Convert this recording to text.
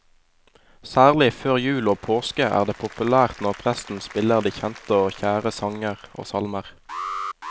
Særlig før jul og påske er det populært når presten spiller de kjente og kjære sanger og salmer.